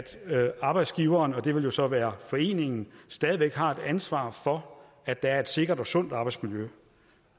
arbejdsgiveren og det vil jo så være foreningen stadig væk har et ansvar for at der er et sikkert og sundt arbejdsmiljø